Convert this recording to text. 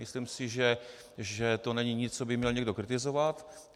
Myslím si, že to není nic, co by měl někdo kritizovat.